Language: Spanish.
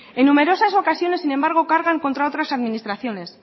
en numerosas ocasiones sin embargo cargan contra otras administraciones